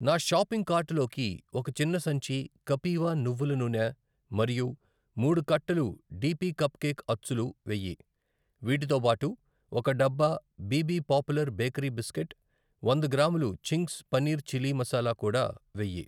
నా షాపింగ్ కార్టులోకి ఒక చిన్న సంచి కపీవ నువ్వుల నూనె మరియు మూడు కట్టలు డిపి కప్ కేక్ అచ్చులు వెయ్యి. వీటితో బాటు ఒక డబ్బా బిబి పాపులర్ బేకరీ బిస్కెట్, వంద గ్రాములు చింగ్స్ పనీర్ చిలీ మసాలా కూడా వెయ్యి.